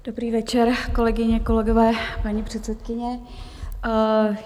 Dobrý večer, kolegyně, kolegové paní předsedkyně.